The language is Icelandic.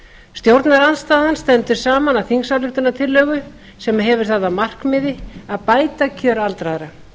stjórnarandstaðan stendur saman að þingsályktunartillögu sem hefur það að markmiði að bæta kjör aldraðra